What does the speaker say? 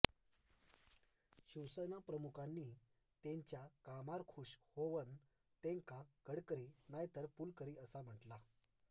शिवसेना प्रमुखांनी तेंच्या कामार खूश होवन तेंका गडकरी नाय तर पुलकरी असा म्हटला